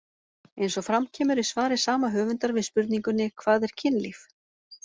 Eins og fram kemur í svari sama höfundar við spurningunni Hvað er kynlíf?